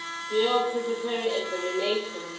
doe preparatory examination